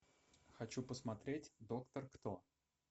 хочу посмотреть доктор кто